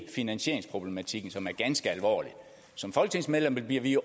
finansieringsproblematikken som er ganske alvorlig som folketingsmedlemmer bliver vi